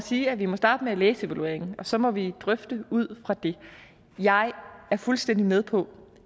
sige at vi må starte med at læse evalueringen og så må vi drøfte ud fra den jeg er fuldstændig med på